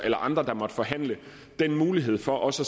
eller andre der måtte forhandle mulighed for også